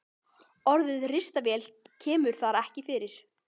Orðið ristavél kemur þar ekki fyrir.